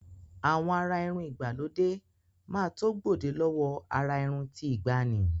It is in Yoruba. Àwọn àrà irun ìgbàlódé máa tó gbòde lọ́wọ àrà irun ti ìgbàanì.